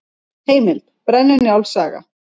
Heimild: Brennu-Njáls saga.